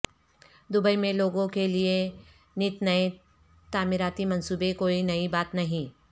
Dubai میں لوگوں کے لیے نت نئے تعمیراتی منصوبے کوئی نئی بات نہیں